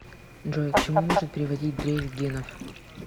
джой к чему может приводить дрейф генов